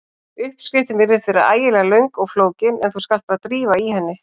Uppskriftin virðist vera ægilega löng og flókin en þú skalt bara drífa í henni.